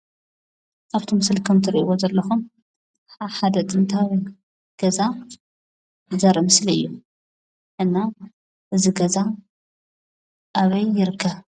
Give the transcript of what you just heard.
አብ እቲ ምስሊ ከም እትሪኢዎ ዘለኩም አብ ሓደ ጥንታዊ ገዛ ዘርኢ ምስሊ እዩ፡፡ እና እዚ ገዛ አበይ ይርከብ?